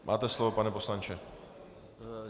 Máte slovo pane poslanče.